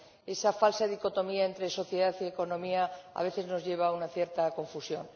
Esa falsa dicotomía entre sociedad y economía a veces nos lleva a una cierta confusión.